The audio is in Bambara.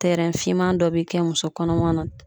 Tɛrɛn finman dɔ bɛ kɛ musokɔnɔma na